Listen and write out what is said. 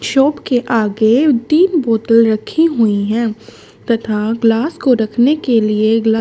shop के आगे तीन बोतल रखी हुई हैं तथा ग्लास को रखने के लिए ग्ला--